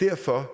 derfor